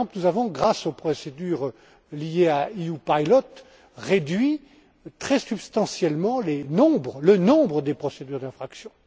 Par exemple nous avons, grâce aux procédures liées à EU Pilot, réduit très substantiellement le nombre des procédures d'infraction.